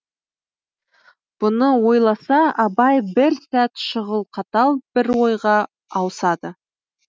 бұны ойласа абай бір сәт шұғыл қатал бір ойға ауысады